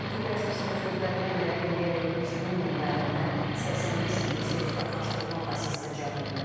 Agentlik rəsmisinin sözlərinə görə indiyədək 120 min müəllimdən 85 mini sertifikatlaşdırılma prosesinə cəlb olunub.